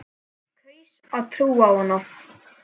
Kaus að trúa á hana.